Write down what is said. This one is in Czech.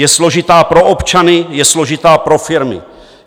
Je složitá pro občany, je složitá pro firmy.